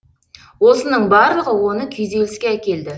осының барлығы оны күйзеліске әкелді